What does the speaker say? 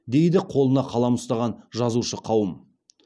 дейді қолына қалам ұстаған жазушы қауым